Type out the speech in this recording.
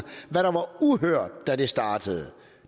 hvad der var uhørt da det startede